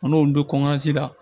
An n'olu bɛ la